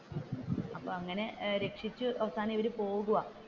, അപ്പൊ അങ്ങനെ രക്ഷിച്ചു അവസാനം ഇവർ പോകുവാ